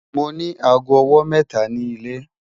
Mo ni àágọ́ ọwọ́ mẹ́ta ni ilẹ̀